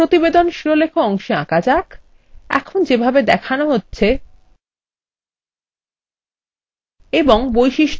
এটিকে প্রতিবেদন শিরোলেখ অংশে আঁকা যাক এখন যেভাবে দেখানো হচ্ছে